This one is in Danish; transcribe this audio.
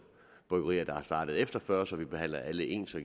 bryggerier der er startet efter nitten fyrre så vi behandler alle ens og